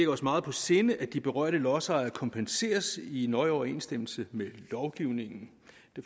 os meget på sinde at de berørte lodsejere kompenseres i nøje overensstemmelse med lovgivningen